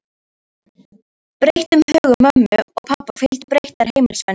Breyttum högum mömmu og pabba fylgdu breyttar heimilisvenjur.